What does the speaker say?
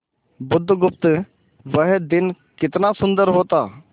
बुधगुप्त वह दिन कितना सुंदर होता